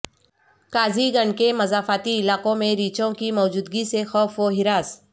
قاضی گنڈ کے مضافاتی علاقوں میں ریچھوں کی موجودگی سے خوف و ہراس